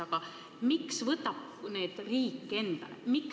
Aga miks võtab riik need kohustused endale?